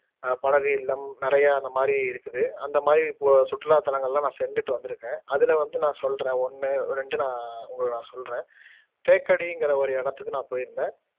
அஹ் படகு இல்லம் நிறையா இந்த மாதிரி இருக்குது அந்த மாதிரி இப்போ சுற்றுலா தலங்களலாம் நான் சென்றுட்டு வந்துருக்கேன் அதுலவந்து நான் சொல்லுறேன் ஒண்ணு ரெண்டு நான் உங்கள நான் சொல்லுறேன் தேக்கடிங்குற ஒரு இடத்துக்கு நான் போயிருந்தேன்